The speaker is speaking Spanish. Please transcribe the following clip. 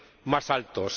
más altos.